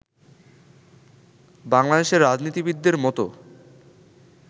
বাংলাদেশের রাজনীতিবিদদের মতো